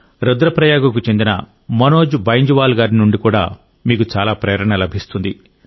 రుద్ర ప్రయాగకు చెందిన మనోజ్ బైంజ్ వాల్ గారి నుండి కూడా మీకు చాలా ప్రేరణ లభిస్తుంది